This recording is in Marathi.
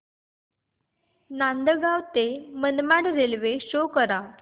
नांदगाव ते मनमाड रेल्वे शो करा